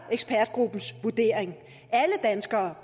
ekspertgruppens vurdering alle danskere